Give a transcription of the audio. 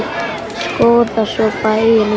Skoða svo bæinn um stund.